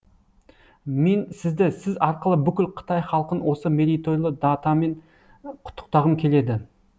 мен сізді сіз арқылы бүкіл қытай халқын осы мерейтойлы датамен құттықтағым келеді